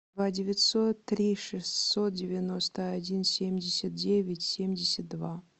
два девятьсот три шестьсот девяносто один семьдесят девять семьдесят два